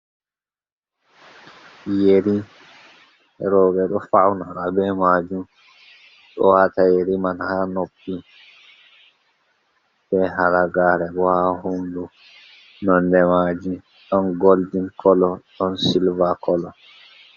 Yeri rowɓe ɗo fawnora be maajum, ɗo waata yeri man, haa noppi, be halagaare bo haa hoondu, nonde maaji, ɗon goldin kolo, ɗon silva kolo.